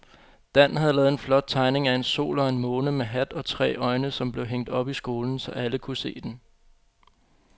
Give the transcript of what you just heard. Dan havde lavet en flot tegning af en sol og en måne med hat og tre øjne, som blev hængt op i skolen, så alle kunne se den.